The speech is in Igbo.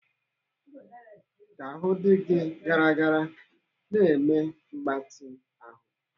Ka ahụ dị gị gara gara na-eme mgbatị ahụ.